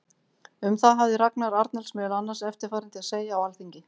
Um það hafði Ragnar Arnalds meðal annars eftirfarandi að segja á Alþingi